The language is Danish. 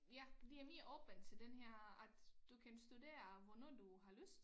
Ja det er mere åbent til den her at du kan studere hvornår du har lyst